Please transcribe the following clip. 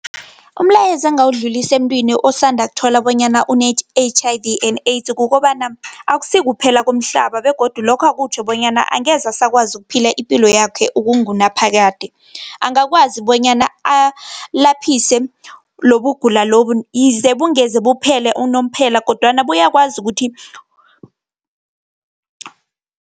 Umlayezo engingawudlulisa emuntwini osanda ukuthola bonyana une-H_I_V and AIDS, kukobana, akusikuphela komhlaba, begodu lokho kutjho bonyana angeze asakwazi ukuphila ipilo yakhe ukungunaphakade. Angakwazi bonyana alaphise lobugula lobo, yize bungeze buphele unomphela, kodwana bayakwazi ukuthi